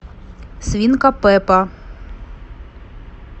свинка пеппа